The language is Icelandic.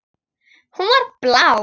Hún var blá.